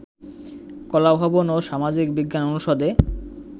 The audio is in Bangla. কলাভবন ও সামাজিক বিজ্ঞান অনুষদে